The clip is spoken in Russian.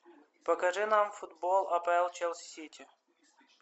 покажи нам футбол апл челси сити